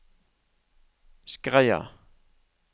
Skreia